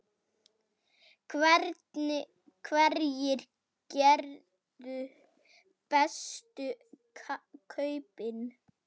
Hverjir gerðu bestu kaupin?